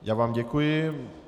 Já vám děkuji.